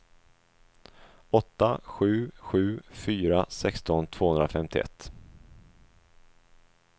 åtta sju sju fyra sexton tvåhundrafemtioett